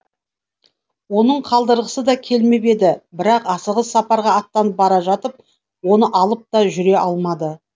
оның қалдырғысы да келмеп еді бірақ асығыс сапарға аттанып бара жатып оны алып та жүре алмады